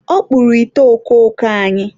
ọ kpụrụ ite okooko anyị.